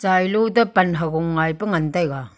chailo to pan hagung ngai pe ngantaiga.